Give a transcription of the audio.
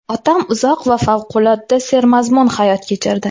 Otam uzoq va favqulodda sermazmun hayot kechirdi.